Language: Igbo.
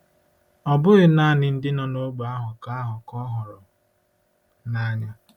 Ọ bụghị naanị ndị nọ n'ógbè ahụ ka ahụ ka ọ hụrụ n'anya.